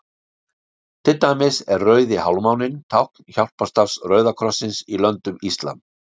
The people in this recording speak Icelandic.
Til dæmis er Rauði hálfmáninn tákn hjálparstarfs Rauða krossins í löndum íslam.